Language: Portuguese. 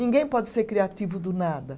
Ninguém pode ser criativo do nada.